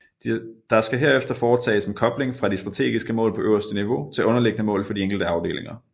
Der skal herefter foretages en kobling fra de strategiske mål på øverste niveau til underliggende mål for de enkelte afdelinger